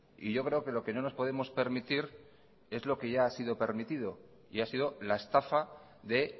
y yo creo que lo que no nos podemos permitir es lo que ya ha sido permitido y ha sido la estafa de